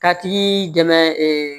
Ka tigi dɛmɛ